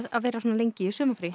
að vera svona lengi í sumarfríi